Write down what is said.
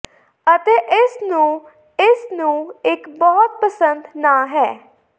ਅਤੇ ਇਸ ਨੂੰ ਇਸ ਨੂੰ ਇੱਕ ਬਹੁਤ ਪਸੰਦ ਨਾ ਹੈ